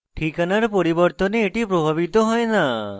ঠিকানার পরিবর্তন দ্বারা এটি প্রভাবিত হয় না